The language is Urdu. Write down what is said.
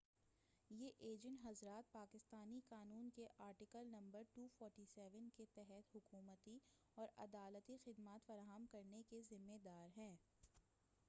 یہ ایجنٹ حضرات پاکستانی قانون کے آرٹیکل نمبر 247 کے تحت حکومتی اور عدالتی خدمات فراہم کرنے کے ذمّے دار ہیں